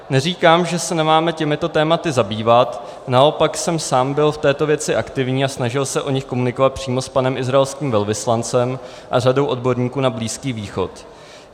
Neříkám, že se nemáme těmito tématy zabývat, naopak jsem sám byl v této věci aktivní a snažil se o nich komunikovat přímo s panem izraelským velvyslancem a řadou odborníků na Blízký východ.